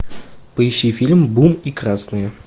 поищи фильм бум и красные